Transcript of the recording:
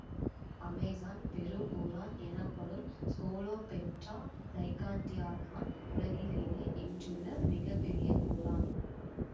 Amazon பெரும்பூரான் எனப்படும் Scolopendra gigantea தான் உலகிலேயே இன்றுள்ள மிக பெரிய பூரான்